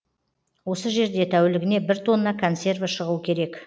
осы жерде тәулігіне бір тонна консерві шығу керек